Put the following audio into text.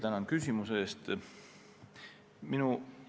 Tänan küsimuse eest!